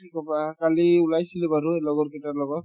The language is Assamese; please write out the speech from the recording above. কি ক'বা কালি ওলাইছিলো বাৰু লগৰ কেইটাৰ লগত